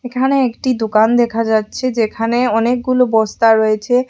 এখানে একটি দোকান দেখা যাচ্ছে যেখানে অনেকগুলো বস্তা রয়েছে।